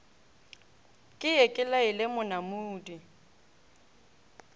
ke ye ke laele monamudi